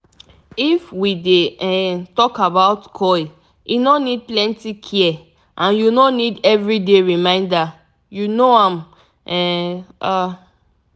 if we dey um talk about coil e no need plenty care and u no need every day reminder - u know am um ah